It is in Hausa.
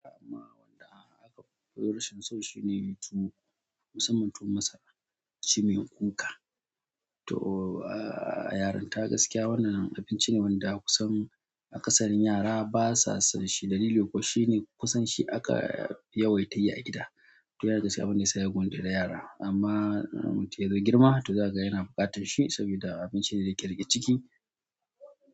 Amma wanda aka fi kuwa rashin so shine tuwo, musamman tuwon masara. Shi mai kuka. To, a yaranta gaskiya wannan abinci ne wanda kusan a kasarins yara basa son shi dalili kuwa shine kusan shi aka yawaita yi a gida. To yana daga ciki abin da yasa ya gwantere yara amma mun yada girma to zaka ga yana buƙatan shi sabida abinci ne da yake riƙe ciki.